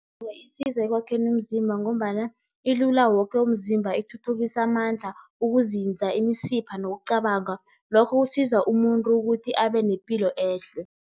Isiza ekwakheni umzimba ngombana ilula woke umzimba, ithuthukisa amandla, ukuzinza, imisipha nokucabanga. Lokho kusiza umuntu ukuthi abe nepilo ehle.